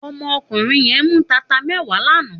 Òmò òkúnrín yèn mú tátá mèwá làná